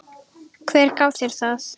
Hver gaf þér það?